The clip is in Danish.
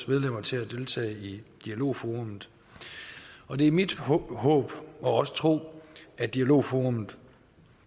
medlemmer til at deltage i dialogforum og det er mit håb og også tro at dialogforum